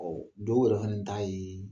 dɔw yɛrɛ fɛnɛ ta yee